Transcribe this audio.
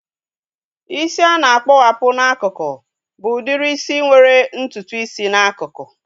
Isi a na-akpowapu n'akụkụ bụ udiri isi nwere ntutu isi n'akụkụ